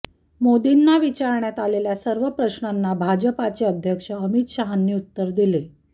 मोदींना विचारण्यात आलेल्या सर्व प्रश्नांना भाजपाचे अध्यक्ष अमित शहांनी उत्तरे दिली